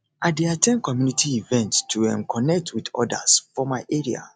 i dey at ten d community events to um connect with others for my area